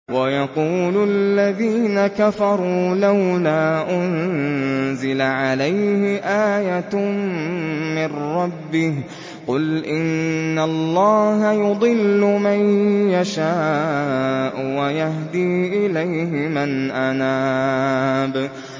وَيَقُولُ الَّذِينَ كَفَرُوا لَوْلَا أُنزِلَ عَلَيْهِ آيَةٌ مِّن رَّبِّهِ ۗ قُلْ إِنَّ اللَّهَ يُضِلُّ مَن يَشَاءُ وَيَهْدِي إِلَيْهِ مَنْ أَنَابَ